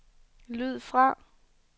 lyd fra